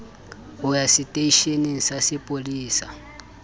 ho ya seteisheneng sa sepolesa